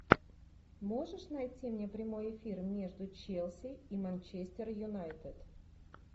можешь найти мне прямой эфир между челси и манчестер юнайтед